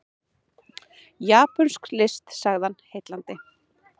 Japönsk list sagði hann, heillandi.